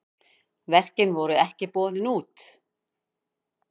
Verkin voru ekki boðin út.